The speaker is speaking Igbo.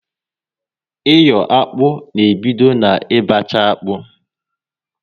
Iyo akpụ na ebido na ị bacha akpụ